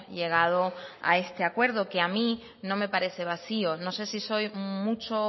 llegado a este acuerdo que a mí no me parece vacío no sé si soy mucho o